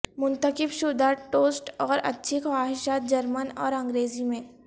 منتخب شدہ ٹوسٹ اور اچھی خواہشات جرمن اور انگریزی میں